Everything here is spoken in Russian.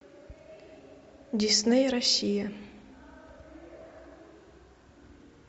дисней россия